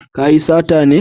Ka yi sata ne